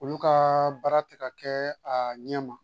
Olu ka baara tɛ ka kɛ a ɲɛ ma